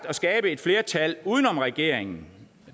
at skabe et flertal uden om regeringen